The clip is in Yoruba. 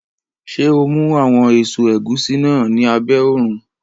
Ṣé o mú àwọn èso ẹ̀gúsí náà ní abẹ́ òrùn?